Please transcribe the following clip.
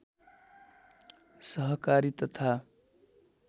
सहकारी तथा